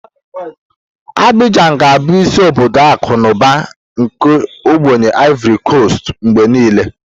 Abijan ga-abụ isi obodo akụ na ụba nke obody Ivori Kostu mgbe niile.